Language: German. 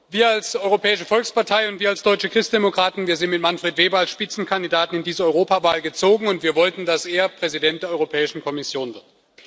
Wir als Europäische Volkspartei und wir als deutsche Christdemokraten sind mit Manfred Weber als Spitzenkandidat in diese Europawahl gezogen und wir wollten, dass er Präsident der Europäischen Kommission wird.